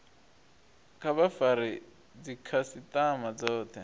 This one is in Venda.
kha vha fare dzikhasitama dzothe